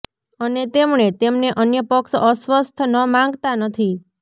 અને તેમણે તેમને અન્ય પક્ષ અસ્વસ્થ ન માંગતા નથી